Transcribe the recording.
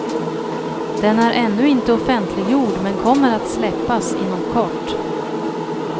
Den är ännu inte offentligjord, men kommer att släppas inom kort.